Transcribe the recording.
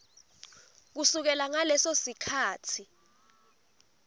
kusukela ngaleso sikhatsi